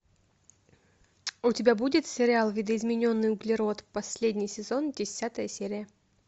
у тебя будет сериал видоизмененный углерод последний сезон десятая серия